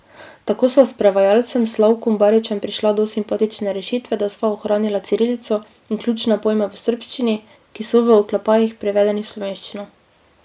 Tako sva s prevajalcem Slavkom Baričem prišla do simpatične rešitve, da sva ohranila cirilico in ključne pojme v srbščini, ki so v oklepajih prevedeni v slovenščino.